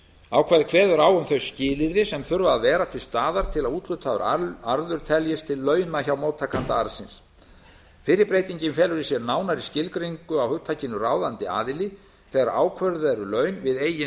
ákvæðið kveður á um þau skilyrði sem þurfa að vera til staðar til að úthlutaður arður teljist til launa hjá móttakanda arðsins fyrri breytingin felur í sér nánari skilgreiningu á hugtakinu ráðandi aðili þegar ákvörðuð eru laun við eigin